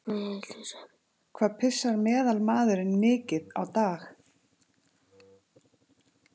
Hvað pissar meðalmaðurinn mikið á dag?